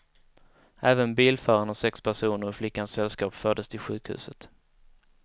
Även bilföraren och sex personer ur flickans sällskap fördes till sjukhuset.